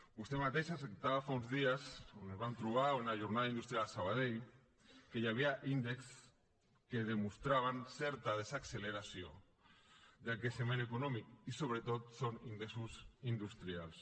vostè mateix acceptava fa uns dies quan ens vam trobar en una jornada industrial a sabadell que hi havia índexs que demostraven certa desacceleració del creixement econòmic i sobretot són ingressos industrials